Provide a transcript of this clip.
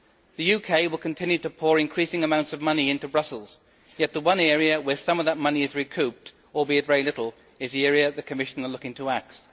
The UK will continue to pour increasing amounts of money into Brussels, yet the one area where some of that money is recouped albeit very little is the area the Commission are looking to axe.